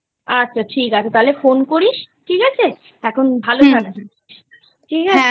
আচ্ছা ঠিক আছে তাহলে Phone করিস ঠিক আছে? এখন ভালো থাক ঠিক আছে।